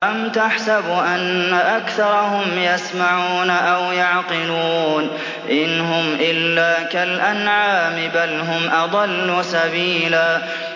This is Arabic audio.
أَمْ تَحْسَبُ أَنَّ أَكْثَرَهُمْ يَسْمَعُونَ أَوْ يَعْقِلُونَ ۚ إِنْ هُمْ إِلَّا كَالْأَنْعَامِ ۖ بَلْ هُمْ أَضَلُّ سَبِيلًا